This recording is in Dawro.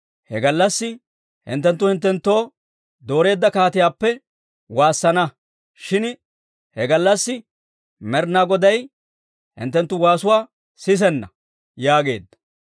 He gallassi hinttenttu hinttenttoo dooreedda kaatiyaappe waassana; shin he gallassi Med'inaa Goday hinttenttu waasuwaa sisenna» yaageedda.